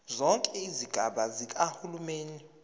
zonke izigaba zikahulumeni